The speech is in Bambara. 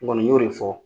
N kɔni y'o de fɔ